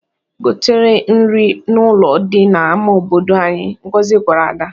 "Goteere nri n'ụlọ dị n'ama obodo anyị," Ngozi gwara Ada.